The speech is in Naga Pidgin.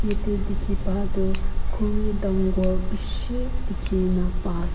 yede dikhi pa tu khuri dangor bishi dikhi na pa as.